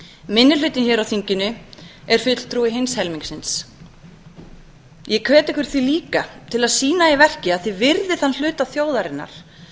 minni hlutinn hér á þinginu er fulltrúi hins helmingsins ég hvet ykkur því líka til að sýna í verki að þið virðið þann hluta þjóðarinnar